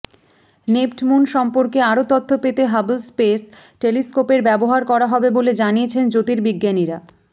নেপ্টমুন সম্পর্কে আরো তথ্য পেতে হাবল স্পেস টেলিস্কোপের ব্যবহার করা হবে বলে জানিয়েছে জ্যোর্তিবিজ্ঞানীরা